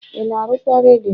ị na arụkwa redio?